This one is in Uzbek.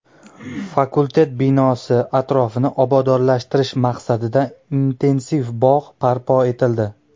Fakultet binosi atrofini obodonlashtirish maqsadida intensiv bog‘ barpo etildi.